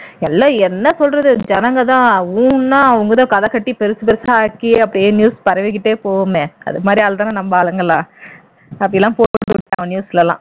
எல்லாம் என்ன சொல்றது ஜனங்கதான் ஊன்னா அவங்கதான் கதைக்கட்டி பெருசுச் பெருசா ஆக்கி அப்படியே news பரவிக்கிட்டே போகுமே அது மாதிரி ஆள்தானே நம்ம ஆளுங்கலாம் அப்படியெல்லாம் போட்டு கொடுத்துட்டாங்க news லலாம்